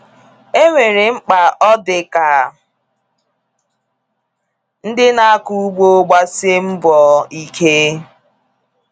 Enwere mkpa ọ dị ka ndị na akọ ugbo gbasie mgbọ ike.